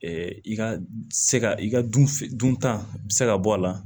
i ka se ka i ka dun f dunta bɛ se ka bɔ a la